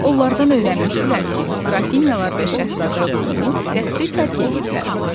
Onlardan öyrənmişdilər ki, Qrafinyalar və Şəhzadə Lumu qəsri tərk eləyiblər.